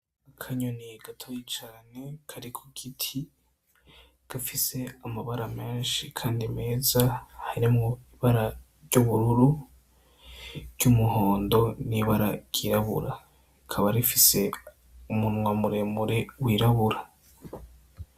Akanyoni gatoyi cane kari ku giti gafise amabara menshi kandi meza harimwo ibara ry'ubururu , ry' umuhondo , n'ibara ryirabura . Rikaba rifise umunwa muremure wirabura.